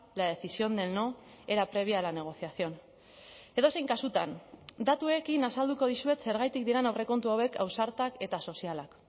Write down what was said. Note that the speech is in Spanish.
la decisión del no era previa a la negociación edozein kasutan datuekin azalduko dizuet zergatik diren aurrekontu hauek ausartak eta sozialak